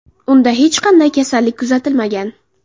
Unda hech qanday kasallik kuzatilmagan.